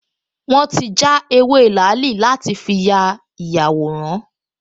Wọ́n ti já ewé làálì láti fi ya ìyàwòrán